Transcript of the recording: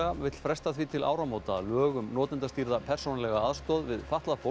vill fresta því til áramóta að lög um notendastýrða persónulega aðstoð við fatlað fólk